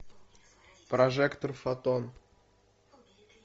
прожектор фотон